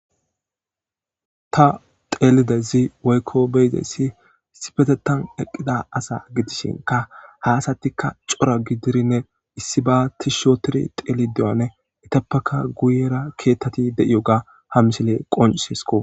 Ta teelidezi woykko beyzessi sipetetan eqqida asa gitishinka haasatika cora gidirinne issi batis shootiri teeli deyone itappaka guyera keettati de'iyo ga hamisile qoncisisko.